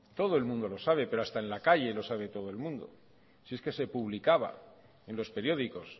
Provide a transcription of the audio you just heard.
todo el mundo lo sabe pero hasta en la calle lo sabe todo el mundo si es que se publicaba en los periódicos